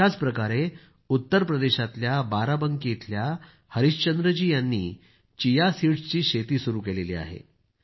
अशाच प्रकारे उत्तर प्रदेशातल्या बाराबंकी इथल्या हरिश्चंद्र जी यांनी चिया सीडस्ची शेती सुरू केली आहे